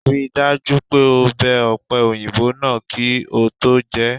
Rí i dájú pé o bẹ ọ̀pẹ-òyìnbó náà kí o tó jẹ é!